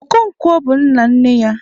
Okonkwo bụ nna nne ya.